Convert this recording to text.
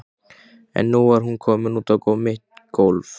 En nú var hún komin út á mitt gólfið.